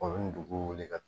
O bɛ dugu wuli ka taa